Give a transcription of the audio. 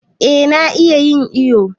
Eh na iya yin iyo.